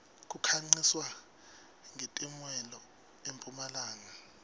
kukhanqiswa nqetemuelo empumlanga